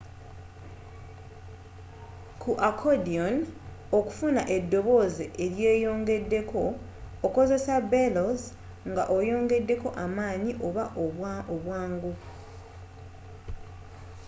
ku accordion okufuna edobooze eryeyongedeko okozesa bellows nga oyongedeko amaanyi oba obwangu